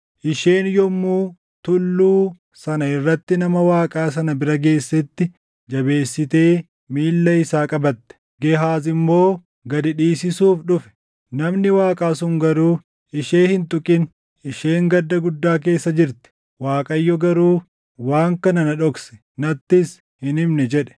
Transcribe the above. Isheen yommuu tulluu sana irratti nama Waaqaa sana bira geessetti, jabeessitee miilla isaa qabatte. Gehaaz immoo gad dhiisisuuf dhufe; namni Waaqaa sun garuu, “Ishee hin tuqin! Isheen gadda guddaa keessa jirti; Waaqayyo garuu waan kana na dhokse; nattis hin himne” jedhe.